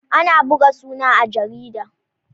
Ana buga suna a jarida.